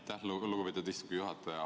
Aitäh, lugupeetud istungi juhataja!